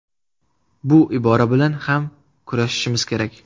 Bu ibora bilan ham kurashishimiz kerak.